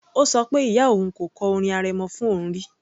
Ó ṣọ pé ìyá òun kò kọ orin arẹmọ fún òun rí